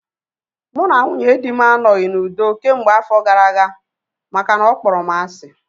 Mụ na nwunye dị m anoghi n'udo kemgbe afọ gara aga makana ọ kpọrọ m asị